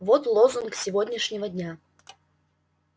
вот лозунг сегодняшнего дня